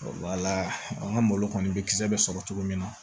Wala an ka malo kɔni bɛ kisɛ bɛ sɔrɔ cogo min na